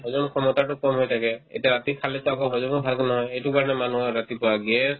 হজম ক্ষমতাতো কম হৈ থাকে এতিয়া ৰাতি খালেতো আকৌ হজমো ভালকে নহয় এইটো কাৰণে মানুহৰ ৰাতিপুৱা gas